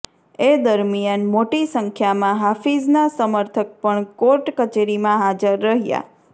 એ દરમિયાન મોટી સંખ્યામાં હાફિઝના સમર્થક પણ કોર્ટ કચેરીમાં હાજર રહ્યા